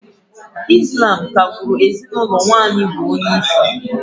Ị́slám ka-gbụ́ru ezinụlọ nwaanyị bụ onyeisi